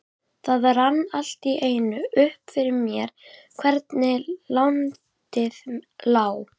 Það rann allt í einu upp fyrir mér hvernig landið lá.